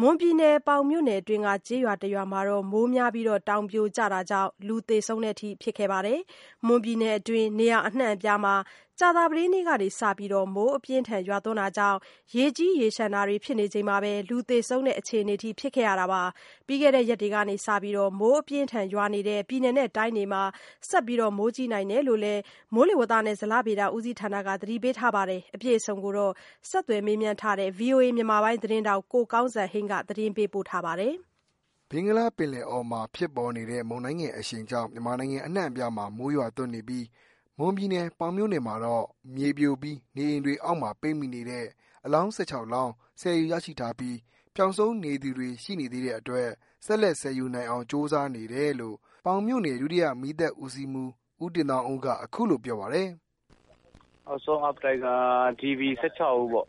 မွန်ပြည်နယ်၊ ပေါင်မြို့နယ်တွင်းက ကျေးရွာတရွာမှာ မိုးများပြီး တောင်ပြိုတာကြောင့် လူသေဆုံးတာတွေရှိခဲ့ပါတယ်။ မွန်ပြည်နယ် အတွင်း နေရာအနှံ့အပြားမှာ ကြာသပတေးနေ့ကစပြီး မိုးအပြင်းအထန်ရွာတာကြောင့် ရေကြီးရေလျှံတာတွေ ဖြစ်နေချိန်မှာပဲ လူ သေဆုံးတဲ့အခြေအနေထိ ဖြစ်ရတာပါ။ ပြီးခဲ့တဲ့ရက်တွေကစပြီး မိုးအပြင်းအထန် ရွာနေတဲ့ ပြည်နယ်တိုင်းတွေမှာ ဆက်ပြီး မိုးကြီး နိုင်တယ်လို့လည်း မိုးလေဝသနဲ့ ဇလဗေဒဦးစီးဌာနက သတိပေးထားပါတယ်။ အပြည့်အစုံကို ဆက်သွယ်မေးမြန်းထားတဲ့ ဗွီအိုအေ မြန်မာပိုင်းသတင်းထောက် ကိုကောင်းစံဟိန်းက သတင်းပေးပို့ထားပါတယ်။ ဘင်္ဂလားပင်လယ်အော်မှာဖြစ်ပေါ်နေတဲ့ မုန်တိုင်းငယ်အရှိန်ကြောင့် မြန်မာနိုင်ငံအနှံ့အပြားမှာ မိုးရွာသွန်းနေပြီး မွန်ပြည်နယ် ပေါင်မြို့နယ်မှာတော့ မြေပြိုပြီး နေအိမ်တွေအောက်မှာ ပိတ်မိနေတဲ့ အလောင်း ၁၆ လောင်း ဆယ်ယူရရှိပီး ပျောက်ဆုံးနေသူတွေ ရှိနေသေးတဲ့အတွက် ဆက်လက် ဆယ်ယူနိုင်အောင် ကြိုးစားနေတယ်လို့ ပေါင်မြို့နယ် ဒုတိယ မီးသတ်ဦးစီးမှူး ဦးတင်သောင်းဦးက အခုလိုပြောပါတယ်။ “DB ၁၆ ဦးပေါ့။ DB က ကျား ၈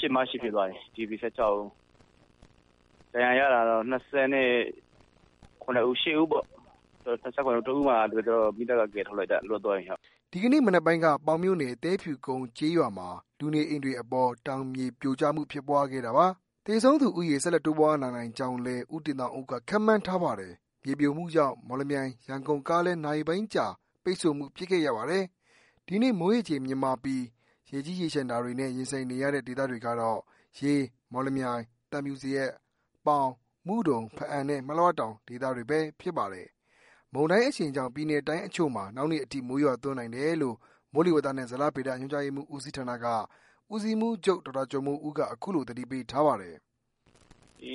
၊ မ ၈ ဖြစ်သွားပြီ။ ဒဏ်ရာရတာကတော့ ၂၇ - ၂၈ ဦးပေါ့။ ၁ ဦးက ကျနော်က မီးသတ်က ကယ်ထုတ်လိုက်တာ လွတ်သွားတယ်။” ဒီကနေ့မနက်ပိုင်းက ပေါင်မြို့နယ် ၊ သဲဖြူ ကုန်းကျေးရွာမှာ လူနေအိမ်တွေအပေါ် တောင်မြေပြိုကျမှုဖြစ်ပွားခဲ့တာပါ။ သေဆုံးသူဦးရေ ဆက်လက်တိုးပွား လာနိုင်ကြောင်းလည်း ဦးတင်သောင်းဦးက ခန်းမှန်းထားပါတယ်။ မြေပြိုမှုကြောင့် မော်လမြိုင် ရန်ကုန်ကားလမ်း နာရီပိုင်းကြာ ပိတ်ဆို့မှု ဖြစ်ခဲ့ရပါတယ်။ဒီနေ့ မိုးရေချိန် မြင့်မားပီး ရေကြီးရေလျံတာတွေနဲ့ ရင်ဆိုင်နေရတဲ့ဒေသတွေကတော့ ရေး ၊မော်လမြိုင် ၊ သံဖြူဇရပ်၊ ပေါင် ၊မုဒုံ ၊ဘားအံ နဲ့ မလွှတောင် ဒေသတွေဘဲ ဖြစ်ပါတယ်။ မုန်တိုင်းအရှိန်ကြောင့် ပြည်နယ်တိုင်းအချို့မှာ နောက် နေ့အထိမိုးရွာသွန်းနိုင်တယ်လို့ မိုးလေဝသနှင့် ဇလဗေဒညွှန်ကြားမှူဦးစီးဌာနက ဦးစီးမှူးချုပ် ဒေါက်တာကျော်မိုးဦးက အခုလို သတိပေးထားပါတယ်။ “ဒီ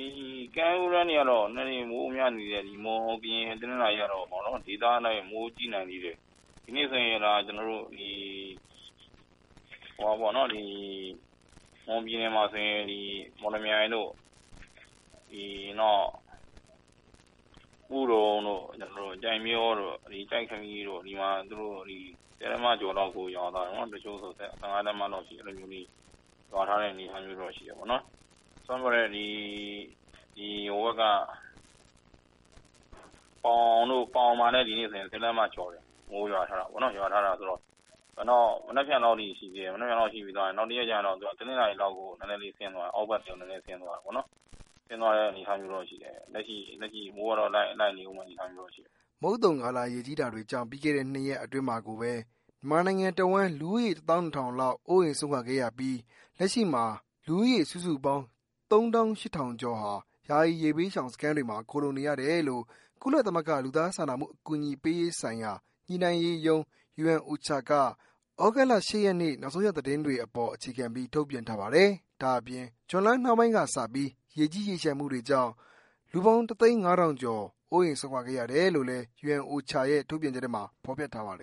ကမ်းရိုးတန်းတွေကတော့ နည်းနည်းလေး မိုးများနေတယ်။ မွန်၊ ကရင်နဲ့ တနင်္သာရီကတော့ ဒေသအလိုက် မိုးကြီးနိုင်သေးတယ်။ ဒီနေ့ဆိုရင် မွန်ပြည်နယ် မော်လမြိုင်၊ မုဒုံ၊ ကျိုက်မရော၊ ကျိုက္ခမီတို့မှာ ၁၀ လက်မ၊ တချို့ဆို ၁၅ လက်မလောက်အထိ ရွာထားတဲ့ အနေအထားမျိုးတော့ ရှိတယ်။ ပေါင်မှာလည်း ဒီနေ့ မိုးရွာထားတာ ၁၀ လက်မကျော်တယ်။ မနက်ဖြန်လောက်ထိ ရှိသေးတယ်။ တနင်္လာနေ့လောက်ဆို အောက်ဖက်ကို နည်းနည်းဆင်းသွားမယ့် အနေအထားမျိုးတော့ ရှိတယ်။ လက်ရှိ မိုးကတော့ လိုက်နေဦးမယ့် အနေအထားမျိုးတော့ ရှိတယ်။ ” မုတ်သုန်ကာလ ရေကြီးတာတွေကြောင့် ပြီးခဲ့တဲ့နှစ်ရက်အတွင်းမှာကိုပဲ မြန်မာနိုင်ငံတဝန်း လူဦးရေ ၁ သောင်း ၂ ထောင်လောက် အိုးအိမ်စွန့်ခဲ့ရပြီး လက်ရှိမှာ လူဦးရေစုစုပေါင်း ၃ သောင်း ၈ ထောင်ကျော်ဟာ ယာယီရေဘေးရှောင်စခန်းတွေမှာ ခိုလှုံနေရတယ် လို့ ကုလသမဂ္ဂ လူသားစာနာမှုအကူအညီပေးရေးဆိုင်ရာ ညှိနှိုှုင်းရေးရုံး UNOCHA က သြဂုတ်လ ၈ ရက်နေ့ နောက်ဆုံးရသတင်း တွေအပေါ်အခြေခံပြီး ထုတ်ပြန်ထားပါတယ်။ ဒါ့အပြင် ဇွန်လနှောင်းပိုင်းကစပြီး ရေကြီးရေလျှံမှုတွေကြောင့် လူပေါင်း ၁ သိန်း ၅ ထောင်ကျော် အိုးအိမ်စွန့်ခဲ့ရတယ်လို့လည်း UNOCHA ရဲ့ထုတ်ပြန်ချက်ထဲမှာ ဖော်ပြထားပါတယ်